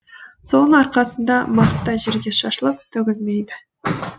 соның арқасында мақта жерге шашылып төгілмейді